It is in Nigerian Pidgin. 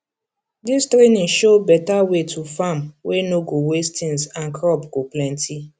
this training show better way to farm wey no go waste things and crop go plenty